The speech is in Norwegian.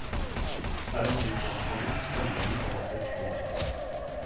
Her er mye flott, komma spennende og vakkert. punktum